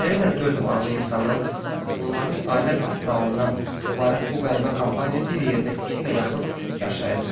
Beləliklə dörd varlı insanın və onların ailə vəsaitindən ibarət bu qəribə kompaniya bir yerdə iki ilə yaxın yaşayıb.